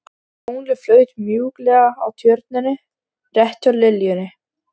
Tunglið flaut mjúklega á Tjörninni rétt hjá liljunni.